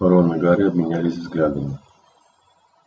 рон и гарри обменялись взглядами